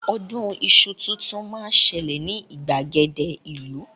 Ọdún iṣu tuntun máa ń ṣẹlẹ̀ ní ìgbàgede ìlú